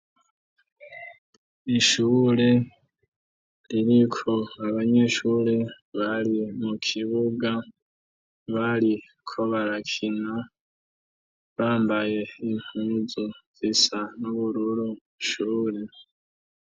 ishure ririko abanyeshure bari mu kibuga bari ko barakina bambaye inpuzu zisa n'ubururu shure